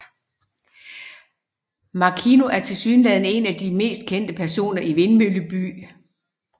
Makino er tilsyneladende en af de mest kendte personer i Vindmølleby